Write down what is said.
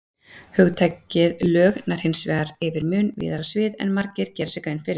Hugtakið lög nær hins vegar yfir mun víðara svið en margir gera sér grein fyrir.